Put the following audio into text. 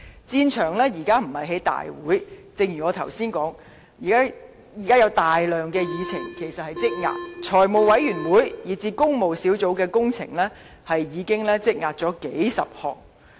現時的戰場不止在立法會會議，正如我剛才所說，現時其實有大量議程正在積壓，財務委員會以至工務小組委員會已積壓數十個項目。